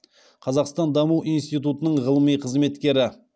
қазақстан даму институтының ғылыми қызметкері